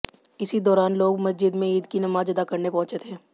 इसी दौरान लोग मस्जिद में ईद की नमाज अदा करने पहुंचे थे